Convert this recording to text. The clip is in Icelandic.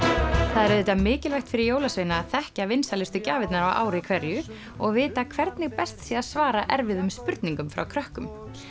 það er auðvitað mikilvægt fyrir jólasveina að þekkja vinsælustu gjafirnar á ári hverju og vita hvernig best sé að svara erfiðum spurningum frá krökkum